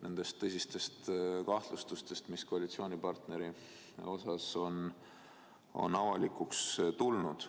nendest tõsistest kahtlustustest, mis koalitsioonipartneri suhtes on avalikuks tulnud.